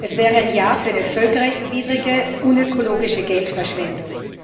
Es wäre ein Ja für eine völkerrechtswidrige, unökologische Geldverschwendung.